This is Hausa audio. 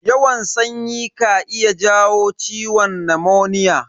Yawan sanyi ka iya jawo ciwon namoniya.